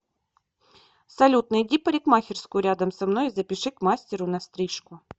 салют найди парикмахерскую рядом со мной и запиши к мастеру на стрижку